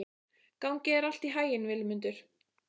Gangi þér allt í haginn, Vilmundur.